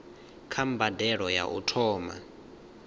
kha mbadelo ya u thoma